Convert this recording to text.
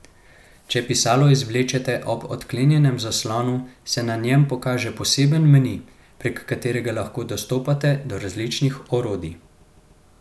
Če pisalo izvlečete ob odklenjenem zaslonu, se na njem pokaže poseben meni, prek katerega lahko dostopate do različnih orodij.